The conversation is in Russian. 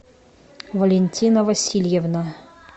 валентина васильевна